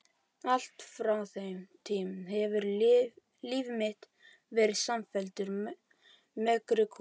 Allt frá þeim tíma hefur líf mitt verið samfelldur megrunarkúr.